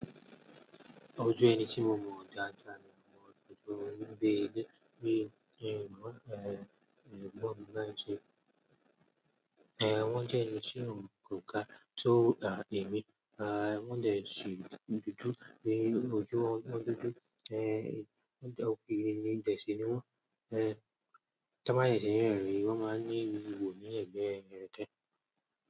Ojú ẹni tí ó mọ ọ̀jájà ni ọmọ dádà, ní gbogbo ìgbà gbígbé, bí i, ní, wọ́n lè, gbọ́ ńlá ń ṣe. Eh, wọ́n jẹ́ ẹni tí ń mú kòká tó dà níbí, ah wọ́n jẹ́ ènìyàn dúdú ní ojú ọmọ dúdú, eh wọ́n jẹ́ òfin ní ìjẹ́ṣì ni wọ́n, eh tá bá nìyẹn ṣe yẹn rí, wọ́n máa ní ibò ní ẹ̀gbẹ́ ẹni rẹ̀ tẹ́.